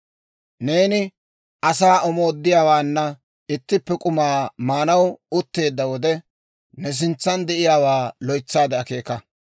Neeni asaa mooddiyaawaanna ittippe k'umaa maanaw utteedda wode, ne sintsan de'iyaawaa loytsaade akeeka.